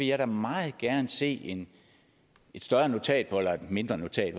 jeg meget gerne vil se et større notat eller et mindre notat